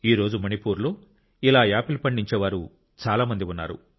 ఈ రోజు మణిపూర్లో ఇలా యాపిల్ పండించేవారు చాలా మంది ఉన్నారు